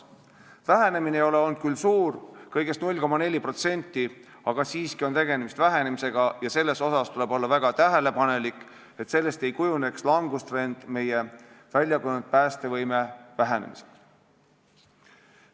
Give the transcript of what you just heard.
Vähenemine ei ole küll olnud suur, kõigest 0,4%, aga siiski on tegemist vähenemisega ja tuleb väga tähelepanelikult jälgida, et sellest ei kujuneks langustrend, mis viib meie väljakujunenud päästevõime kahanemiseni.